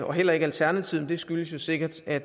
og heller ikke alternativet men det skyldes jo sikkert at